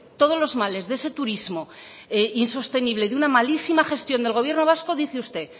todos los males de ese turismo insostenible de una malísima gestión del gobierno vasco dice usted